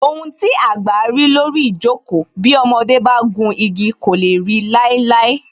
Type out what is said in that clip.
Ohun tí àgbà rí lórí ijoko, bí ọmọdé bá gùn igi kò lè ri láíláí